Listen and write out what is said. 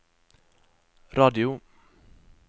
radio